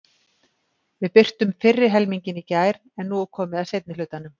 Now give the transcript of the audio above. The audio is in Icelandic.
Við birtum fyrri helminginn í gær en nú er komið að seinni hlutanum.